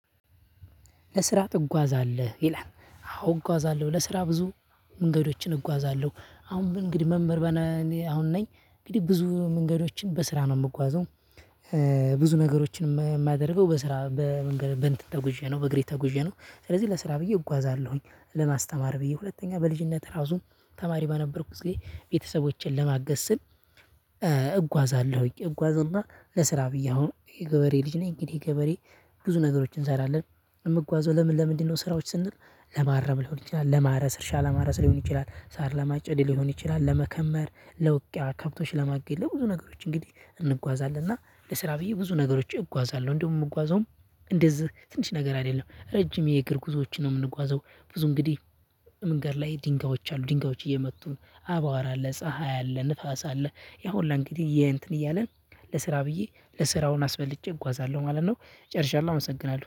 ለስራ ትጓዛለህ ይላል አዎ እጓዛለሁ ለስራ ብዙ መንገዶችን እጓዛለሁ አሁን ግን እንግዲህ መምህር በነ እኔ አሁን ነኝ እንግዲህ ብዙ መንገዶችን በስራ ነው የምጓዘው። እ ብዙ ነገሮችን የማደርገው በስራ በመንገድ በእንትን ተጉዤ ነው በእግሬ ተጉዤ ነው ስለዚህ ለስራ ብዬ እጓዛለሁኝ። ለማስተማር ብዬ ሁለተኛ በልጅነት እራሱ ተማሪ በነበርኩት ጊዜ ቤተሰቦቼን ለማገዝ ስል እ እጓዛለሁኝ እጓዝና ለስራ ብዬ አሁን የገበሬ ልጅ ነኝ። እንግዲህ ገበሬ ብዙ ነገሮችን እንሰራለን። የምጓዘው ለምን ለምንድነው? ስራዎች ስንል ለማረም ሊሆን ይችላል ለማረስ እርሻ ለማረስ ሊሆን ይችላል ሳር ለማጨድ ሊሆን ይችላል ለመከመር ለውቅያ ከብቶች ለማገድ ለብዙ ነገሮች እንግዲህ እንጓዛለን። እና ለስራ ብዬ ብዙ ነገሮች እጓዛለሁ። እንደውም የምጓዘውም እንደዚህ ትንሽ ነገር አይደለም ረጅም የእግር ጉዞዎችን ነው የምንጓዘው። ብዙ እንግዲህ መንገድ ላይ ድንጋዮች አሉ ድንጋዮች እየመቱ አቧራ አለ ፀሀይ አለ ንፋስ አለ። ያው ሁላ እንግዲህ ይሄ እንትን እያለን ለስራ ብዬ ለ ስራውን አስበልጬ እጓዛለሁ ማለት ነው። ጨርሻለሁ አመሰግናለሁ